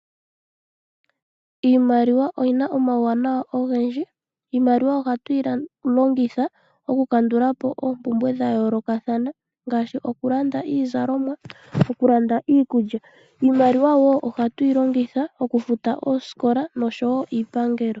Iimaliwa oyi na omawuwanawa ogendji. Iimaliwa ohatu yi longitha okukandula po oompumbwe dha yoolokathana ngaashi okulanda iizalomwa nokulanda iikulya. Iimaliwa wo ohatu yi longitha okufuta oosikola noshowo iipangelo.